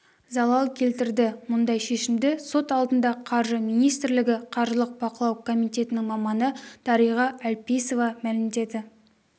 залал келтірді мұндай шешімді сот алдында қаржы министрлігі қаржылық бақылау комитетінің маманы дариға әлпейісова мәлімдеді